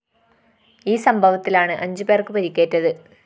ഈ സംഭവത്തിലാണ് അഞ്ച് പേര്‍ക്ക് പരിക്കേറ്റത്